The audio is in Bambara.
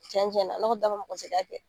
Cɛn cɛn na, ne kɔni t'a fɔ mɔgɔ si ka kɛ.